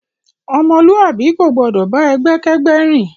Ọmọluabi ko gbọdọ bá ẹgbẹ kẹgbẹ rìn.